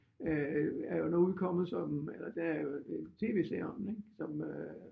Øh er jo nu udkommet som eller der er jo en tv-serie om den ik som øh